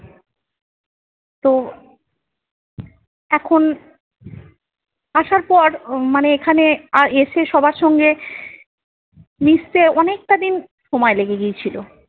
তো এখন আসার পর উম মানে এখানে এসে সবার সঙ্গে মিশতে অনেকটা দিন সময় লেগে গিয়েছিল।